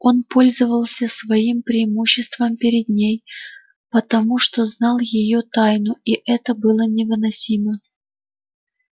он пользовался своим преимуществом перед ней потому что знал её тайну и это было невыносимо